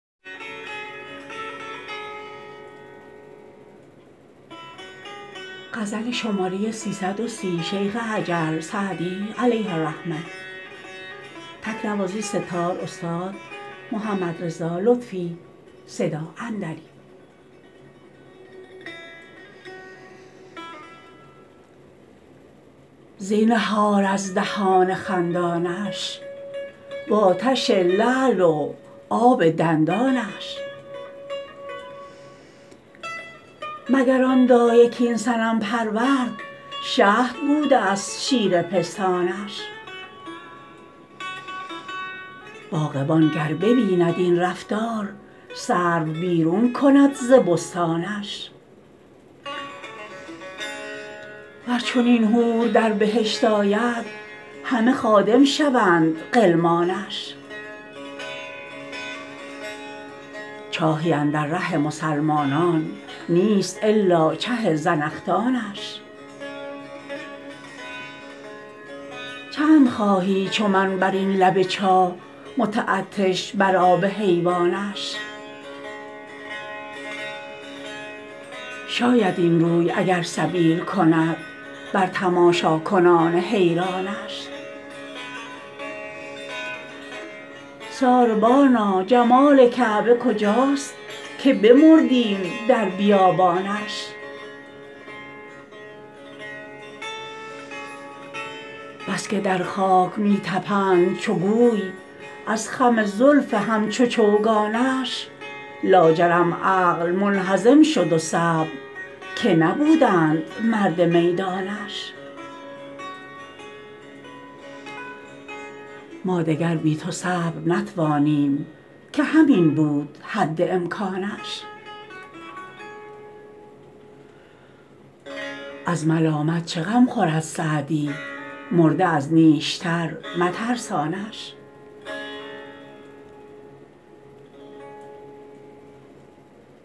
زینهار از دهان خندانش و آتش لعل و آب دندانش مگر آن دایه کاین صنم پرورد شهد بوده ست شیر پستانش باغبان گر ببیند این رفتار سرو بیرون کند ز بستانش ور چنین حور در بهشت آید همه خادم شوند غلمانش چاهی اندر ره مسلمانان نیست الا چه زنخدانش چند خواهی چو من بر این لب چاه متعطش بر آب حیوانش شاید این روی اگر سبیل کند بر تماشاکنان حیرانش ساربانا جمال کعبه کجاست که بمردیم در بیابانش بس که در خاک می طپند چو گوی از خم زلف همچو چوگانش لاجرم عقل منهزم شد و صبر که نبودند مرد میدانش ما دگر بی تو صبر نتوانیم که همین بود حد امکانش از ملامت چه غم خورد سعدی مرده از نیشتر مترسانش